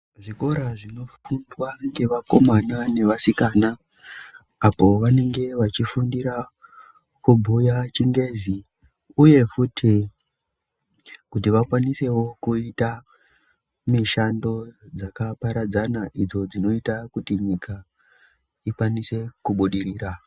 Zvikora zvinofundwa ngevakomana nevasikana apo vanenge vechifundira kubhuya chingezi uye futi kuti vakwanise kuita mishando dzakaparadzana kuti nyika ione kubudirira.